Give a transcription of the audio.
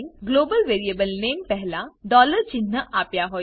global variable name પહેલા dollar ચિન્હ આપ્યા હોય છે